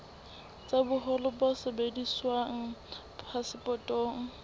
tsa boholo bo sebediswang phasepotong